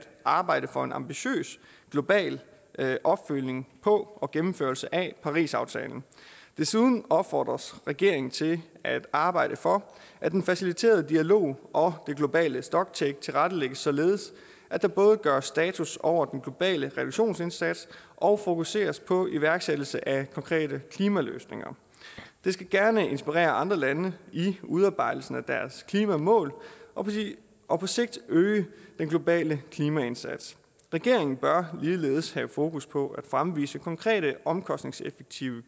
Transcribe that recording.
arbejde for en ambitiøs global opfølgning på og gennemførelse af parisaftalen desuden opfordres regeringen til at arbejde for at den faciliterende dialog og det globale stocktake tilrettelægges således at der både gøres status over den globale reduktionsindsats og fokuseres på iværksættelse af konkrete klimaløsninger det skal gerne inspirere andre lande i udarbejdelsen af deres klimamål og og på sigt øge den globale klimaindsats regeringen bør ligeledes have fokus på at fremvise konkrete omkostningseffektive